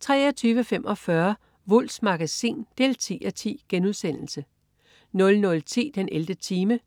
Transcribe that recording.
23.45 Wulffs Magasin 10:10* 00.10 den 11. time*